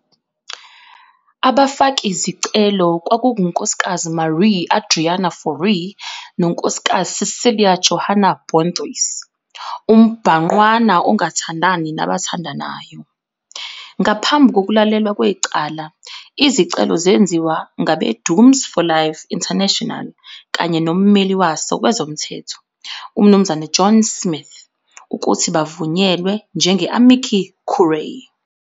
Abafakizicelo kwakunguNkz Marié Adriaana Fourie noNkz Cecelia Johanna Bonthuys, umbhangqwana ongathandani nabathandanayo. Ngaphambi kokulalelwa kwecala, izicelo zenziwa ngabeDooms For Life International kanye nommeli waso wezomthetho, uMnuz John Smyth, ukuthi bavunyelwe njenge-amici curiae.